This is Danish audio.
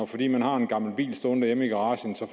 fordi man har en gammel bil stående hjemme i garagen så